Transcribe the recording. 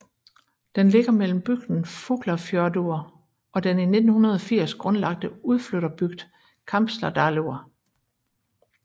Den ligger mellem bygden Fuglafjørður og den i 1980 grundlagte udflytterbygd Kambsdalur